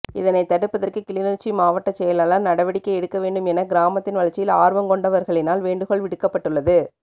இதனைத் தடுப்பதற்கு கிளிநொச்சி மாவட்டச் செயலாளர் நடவடிக்கை எடுக்க வேண்டும் என கிராமத்தின் வளர்ச்சியில் ஆர்வங்கொண்டவர்களினால் வேண்டுகோள் விடுக்கப்பட்டுள்ளது